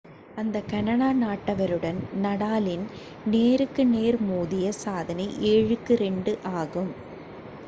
அந்த கனடா நாட்டவருடன் நடாலின் நேருக்கு நேர் மோதிய சாதனை 7-2 ஆகும்